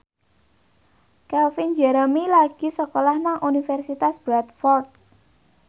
Calvin Jeremy lagi sekolah nang Universitas Bradford